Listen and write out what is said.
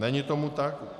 Není tomu tak.